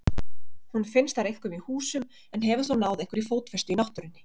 Hún finnst þar einkum í húsum en hefur þó náð einhverri fótfestu í náttúrunni.